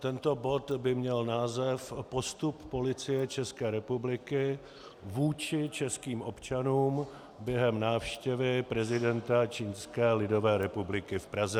Tento bod by měl název Postup Policie České republiky vůči českým občanům během návštěvy prezidenta Čínské lidové republiky v Praze.